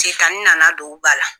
Setani nana don u ba la.